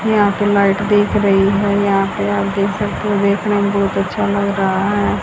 यहां पे लाइट दिख रही है यहां पे आप देख सकते हो देखने में बहोत अच्छा लग रहा है।